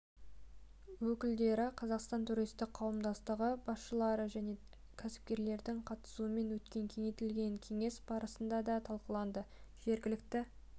өкілдері қазақстан туристік қауымдастығы басшылары және кәсіпкерлердің қатысуымен өткен кеңейтілген кеңес барысында да талқыланды жергілікті